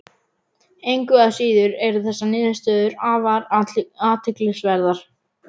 Engu að síður eru þessar niðurstöður afar athyglisverðar.